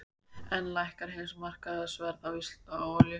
Enn lækkar heimsmarkaðsverð á olíu